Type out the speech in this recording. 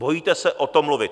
Bojíte se o tom mluvit.